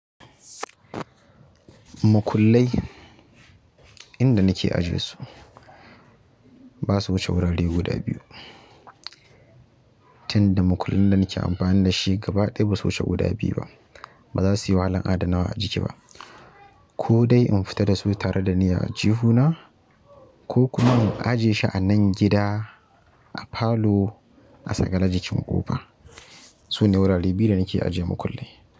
Makullai inda nake ajiye su ba su wuce wurare guda biyu. Tinda makullin da nake amfani da shi gaba ɗaya ba su wuce guda biyu ba. Ba za su yi wahalan adanawa a jiki ba. Ko dai in fita da su tare da ni a aljihuna ko kuma in ajiye shi a nan gida a palour a sakele jikin ƙofa. Sune wurare biyu da nake ajiye makullai.